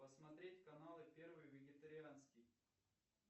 посмотреть каналы первый вегетарианский